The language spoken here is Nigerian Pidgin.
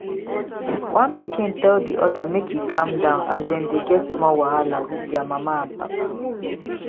one pikin tell di other make e calm down as dem dey get small wahala with their mama and papa